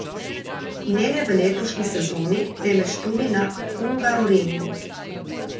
Ne le v letošnji sezoni, temveč tudi na Hungaroringu.